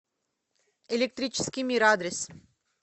электрический мир адрес